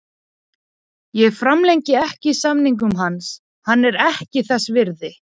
Ég framlengi ekki samningnum hans, hann er ekki þess virði.